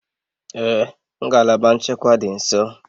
Ee ngalaba nchekwa dị nso